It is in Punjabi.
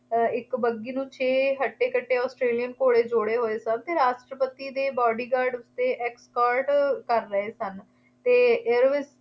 ਇੱਕ ਬੱਘੀ ਨੂੰ ਛੇ ਹੱਟੇ-ਕੱਟੇ Australian ਘੋੜੇ ਜੋੜੇ ਹੋਏ ਸਨ ਅਤੇ ਰਾਸ਼ਟਰਪਤੀ ਦੇ ਬਾਡੀਗਾਰਡ ਅਤੇ escort ਕਰ ਰਹੇ ਸਨ।